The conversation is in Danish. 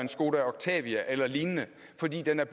skoda octavia eller lignende fordi den er